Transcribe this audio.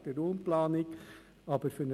Ich bitte Sie, noch im Ratssaal zu bleiben.